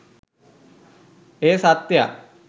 එය සත්‍යයක්